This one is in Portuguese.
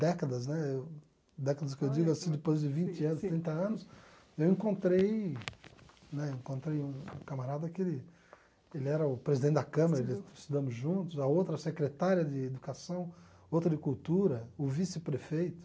Décadas né eu décadas que eu digo assim, depois de vinte anos, trinta anos, eu encontrei né encontrei um camarada que ele que ele era o presidente da Câmara, estudamos juntos, a outra a secretária de Educação, outra de Cultura, o vice-prefeito.